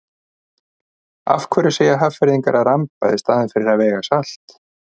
Af hverju segja Hafnfirðingar að ramba í staðinn fyrir að vega salt?